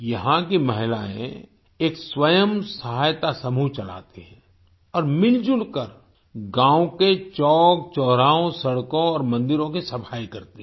यहाँ की महिलाएँ एक स्वयं सहायता समूह चलाती हैं और मिलजुल कर गाँव के चौकचौराहों सड़कों और मंदिरों की सफाई करती हैं